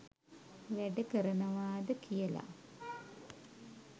වැඩකරනවාද කියල.